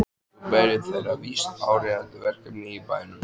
Svo beið þeirra víst áríðandi verkefni í bænum.